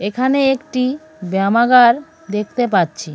এখানে একটি ব্যামাগার দেখতে পাচ্ছি।